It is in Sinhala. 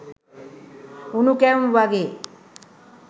උණු කැවුම් වගේ